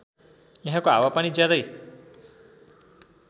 यहाँको हावापानी ज्यादै